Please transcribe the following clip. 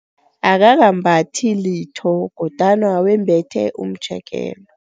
Akakambathi litho kodwana wembethe umtjekelo.